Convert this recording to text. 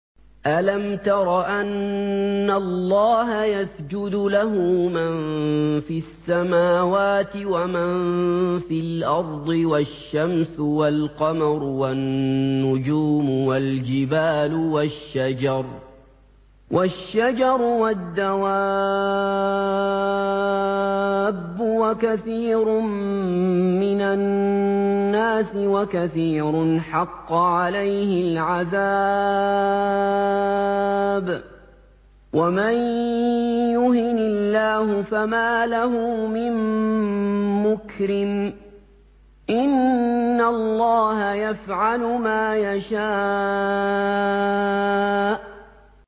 أَلَمْ تَرَ أَنَّ اللَّهَ يَسْجُدُ لَهُ مَن فِي السَّمَاوَاتِ وَمَن فِي الْأَرْضِ وَالشَّمْسُ وَالْقَمَرُ وَالنُّجُومُ وَالْجِبَالُ وَالشَّجَرُ وَالدَّوَابُّ وَكَثِيرٌ مِّنَ النَّاسِ ۖ وَكَثِيرٌ حَقَّ عَلَيْهِ الْعَذَابُ ۗ وَمَن يُهِنِ اللَّهُ فَمَا لَهُ مِن مُّكْرِمٍ ۚ إِنَّ اللَّهَ يَفْعَلُ مَا يَشَاءُ ۩